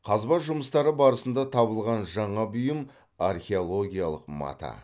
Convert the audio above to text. қазба жұмыстары барысында табылған жаңа бұйым археологиялық мата